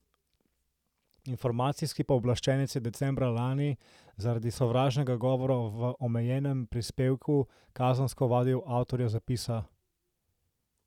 Informacijski pooblaščenec je decembra lani zaradi sovražnega govora v omenjenem prispevku kazensko ovadil avtorja zapisa.